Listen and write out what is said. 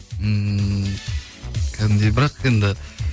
ммм кәдімгідей бірақ енді